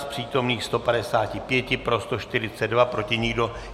Z přítomných 155 pro 142, proti nikdo.